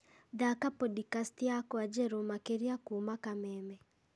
thaaka pondicasti yakwa njerũ makĩria kuuma kameme